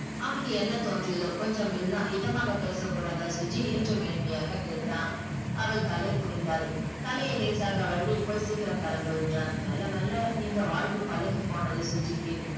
அவனுக்கு என்ன தோன்றியதோ கொஞ்சம் மெல்ல இதமாக பேசக்கூடாதா சுஜி என்று மென்மையாக கேட்டான் அவள் தலை குனிந்தால் தலையை லேசாக வருடி போய் சீக்கிரம் கெளம்பு என்றான் மெல்ல மெல்ல இந்த வாழ்வு பழகி போனது சுஜிக்கு